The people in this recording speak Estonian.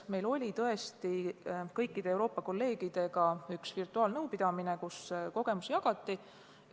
Meil oli tõesti kõikide Euroopa kolleegidega üks virtuaalnõupidamine, kus jagati kogemusi.